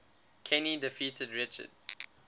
kenny defeated richard